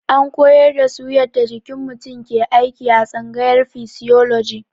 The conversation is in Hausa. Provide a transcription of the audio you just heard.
An koyar da su yadda jikin mutum ke aiki a tsangayar fisioloji.